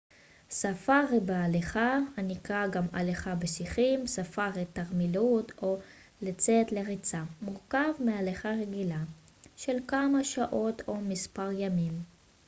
"ספארי בהליכה הנקרא גם "הליכה בשיחים" "ספארי תרמילאות" או "לצאת לריצה" מורכב מהליכה רגלית של כמה שעות או מספר ימים.